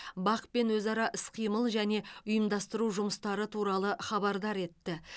бақ пен өзара іс қимыл және ұйымдастыру жұмыстары туралы хабардар етті